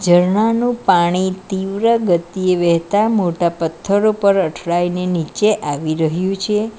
ઝરણાનું પાણી તીવ્ર ગતિએ વેતા મોટા પથ્થરો પર અઠડાઈને નીચે આવી રહ્યું છે.